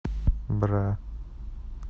бра